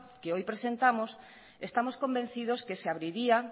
que hoy presentamos estamos convencidos que se abriría